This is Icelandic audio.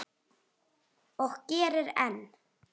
Og gerir enn.